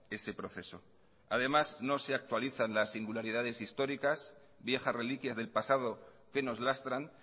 ese proceso además no se actualizan las singularidades históricas viejas reliquias del pasado que nos lastran